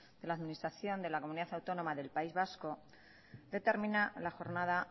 de la administración de la comunidad autónoma del país vasco determina la jornada